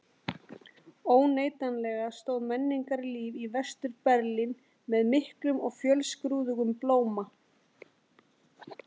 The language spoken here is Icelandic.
Óneitanlega stóð menningarlíf í Vestur-Berlín með miklum og fjölskrúðugum blóma.